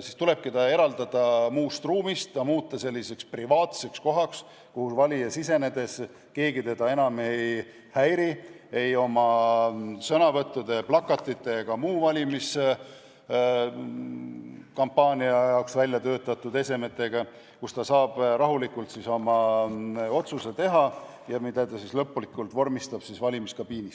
siis tulebki ta eraldada muust ruumist ja muuta selliseks privaatseks kohaks, kus valija sisenedes teda keegi enam ei häiri ei oma sõnavõttude, plakatite ega muude valimiskampaania jaoks välja töötatud esemetega, ning kus valija saab rahulikult teha oma otsuse, mille ta siis lõplikult vormistab valimiskabiinis.